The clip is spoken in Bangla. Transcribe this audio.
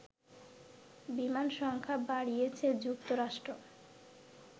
বিমান সংখ্যা বাড়িয়েছে যুক্তরাষ্ট্র